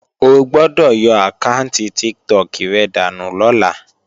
O gbọ́dọ̀ yọ àkáànti Tiktok rẹ dànù lọ́la!